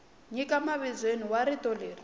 nyika mavizweni wa rito leri